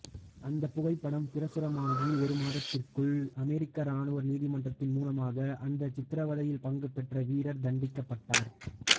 அந்தப் புகைப்படம் பிரசுரமாகி ஒரு மாதத்திற்குள் அமெரிக்க இராணுவ நீதிமன்றத்தின் மூலமாக அந்த சித்திரவதையில் பங்குபெற்ற வீரர் தண்டிக்கப்பட்டார்